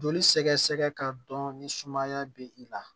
Joli sɛgɛsɛgɛ ka dɔn ni sumaya be i la